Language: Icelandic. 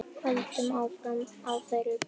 Höldum áfram á þeirri braut.